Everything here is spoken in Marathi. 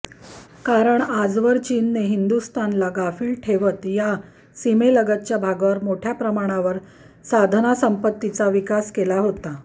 कारण आजवर चीनने हिंदुस्थानला गाफिल ठेवत या सीमेलगतच्या भागावर मोठ्या प्रमाणावर साधनसंपत्तीचा विकास केला होता